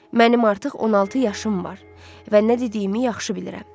Mənim artıq 16 yaşım var və nə dediyimi yaxşı bilirəm.